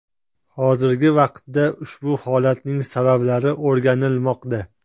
Hozirgi vaqtda ushbu holatning sabablari o‘rganilmoqda.